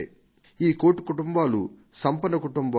ఈ కోటి కుటుంబాలు సంపన్న కుటుంబాలు కావు